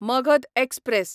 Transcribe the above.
Magadha express